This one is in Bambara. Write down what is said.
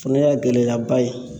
O fɛnɛ y'a gɛlɛyaba ye